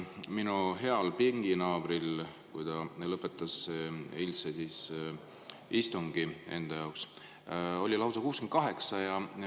Minu heal pinginaabril, kui ta lõpetas enda jaoks eilse istungi, oli neid lausa 68.